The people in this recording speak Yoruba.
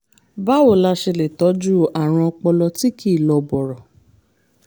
báwo la ṣe lè tọ́jú àrùn ọpọlọ tí kì í lọ bọ̀rọ̀?